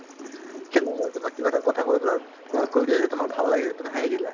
সেই লগৰ তোমাক কিবা এটা কথা কৈ দিলা অ কৈ দিলে যে তোমাক ভাল লাগে তুমি হাঁহি দিলা